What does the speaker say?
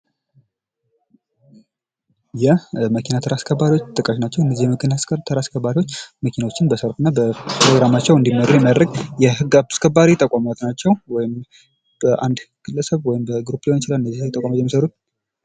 የመኪና አስከባሪዎች ጥቅማቸው እነዚህ የመኪና አስከባሪዎች መኪኖችን በተራቸው እና በሰልፋቸው እንዲመሩ የሚያደርግ የህግ አስከባሪ ተቋማት ናቸው ፤ ወይም በአንድ ግለሰብ ሊሆን ይችላል በተለያዩ ግለሰቦች እነዚህ የሚመሠረቱ ናቸው።